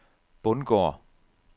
Bundgård